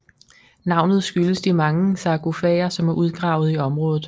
Navnet skyldes de mange sargofager som er udgravet i området